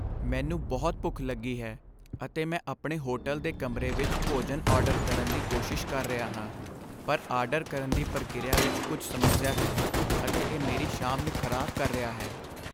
ਮੈਨੂੰ ਬਹੁਤ ਭੁੱਖ ਲੱਗੀ ਹੈ, ਅਤੇ ਮੈਂ ਆਪਣੇ ਹੋਟਲ ਦੇ ਕਮਰੇ ਵਿੱਚ ਭੋਜਨ ਆਰਡਰ ਕਰਨ ਦੀ ਕੋਸ਼ਿਸ਼ ਕਰ ਰਿਹਾ ਹਾਂ, ਪਰ ਆਰਡਰ ਕਰਨ ਦੀ ਪ੍ਰਕਿਰਿਆ ਵਿੱਚ ਕੁਝ ਸਮੱਸਿਆ ਹੈ, ਅਤੇ ਇਹ ਮੇਰੀ ਸ਼ਾਮ ਨੂੰ ਖਰਾਬ ਕਰ ਰਿਹਾ ਹੈ।